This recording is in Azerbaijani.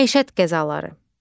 Məişət qəzaları.